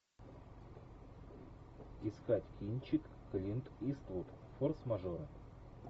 искать кинчик клинт иствуд форс мажоры